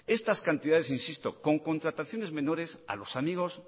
estas cantidades insisto con contrataciones menores a los amigos